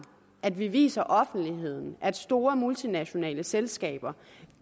at vi viser offentligheden at store multinationale selskaber